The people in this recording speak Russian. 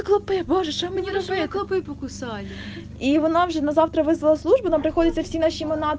можешь ему не разбивая клопы покусали иванов же на завтра вызвал службу нам приходится восемнадцать